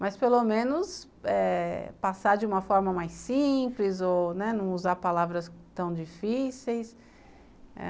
mas pelo menos eh passar de uma forma mais simples ou não usar palavras tão difíceis.